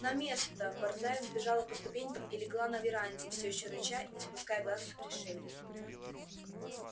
на место борзая взбежала по ступенькам и легла на веранде всё ещё рыча и не спуская глаз с пришельца